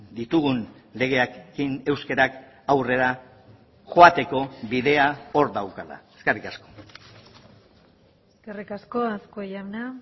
ditugun legeekin euskarak aurrera joateko bidea hor daukala eskerrik asko eskerrik asko azkue jauna